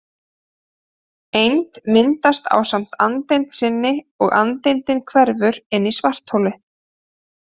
Eind myndast ásamt andeind sinni og andeindin hverfur inn í svartholið.